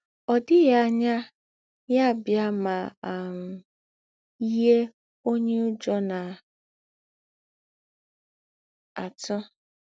Ọ̀ dịghị ànyà yà bịà mà um yíé ǒnyé Ǔjọ́ na - àtụ̀.